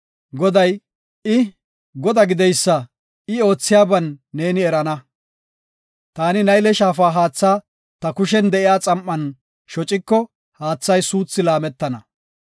Goday, I, Godaa gideysa I oothiyaban neeni erana. Taani Nayle Shaafa haatha ta kushen de7iya xam7an shociko haathay suuthi laametana.